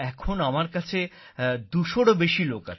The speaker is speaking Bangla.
এখন আমার কাছে ২০০এরও বেশী লোক আছে